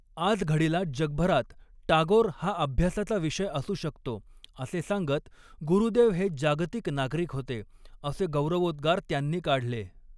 आजघडीला जगभरात टागोर हा अभ्यासाचा विषय असू शकतो असे सांगत गुरुदेव हे जागतिक नागरिक होते, असे गौरवोदृ्गार त्यांनी काढले.